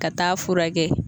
Ka taa furakɛ